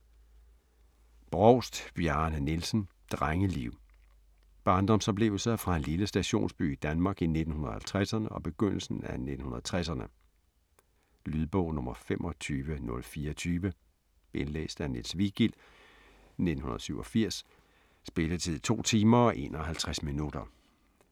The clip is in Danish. Brovst, Bjarne Nielsen: Drengeliv Barndomsoplevelser fra en lille stationsby i Danmark i 1950'erne og begyndelsen af 1960'erne. Lydbog 25024 Indlæst af Niels Vigild, 1987. Spilletid: 2 timer, 51 minutter.